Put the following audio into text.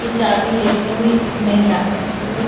ये चाबी लेती हुई एक महिला एक पुरुष--